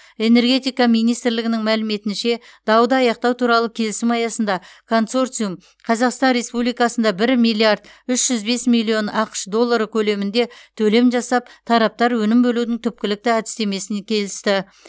энергетика министрлігінің мәліметінше дауды аяқтау туралы келісім аясында консорциум қазақстан республикасынада бір миллиард үш жүз бес миллион ақш доллары көлемінде төлем жасап тараптар өнім бөлудің түпкілікті әдістемесін келісті